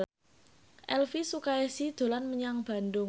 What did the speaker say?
Elvi Sukaesih dolan menyang Bandung